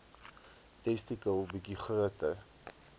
testikel bietjie groter